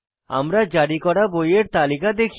আমরা জারি করা বইয়ের তালিকা দেখি